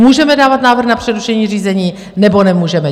Můžeme dávat návrh na přerušení řízení, nebo nemůžeme?